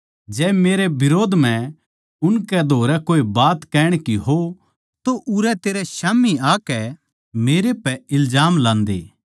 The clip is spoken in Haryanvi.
जै मेरै बिरोध म्ह उनकै धोरै कोए बात कहण की हो तो उरै तेरै स्याम्ही आकै मेरै पै इल्जाम लांदे